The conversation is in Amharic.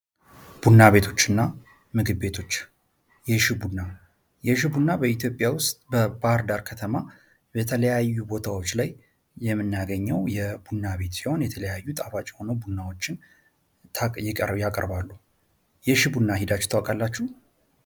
ቡና ቤቶችና ምግብ ቤቶች የሽቡና በኢትዮጵያ ውስጥ በባህር ዳር ከተማ በተለያዩ ቦታዎች ላይ የምናገኘው የቡና ቤት ሲሆን የተለያዩ ጣፋጭ ሆኖ ቡናዎችን ያቀርባሉ። የሽ ቡና ሄዳችሁ ካላችሁ?